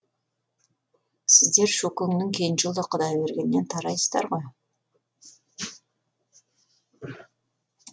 сіздер шөкеңнің кенже ұлы құдайбергеннен тарайсыздар ғой